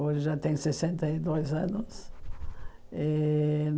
Hoje já tem sessenta e dois anos. Eh